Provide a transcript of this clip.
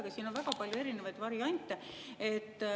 Aga siin on väga palju erinevaid variante.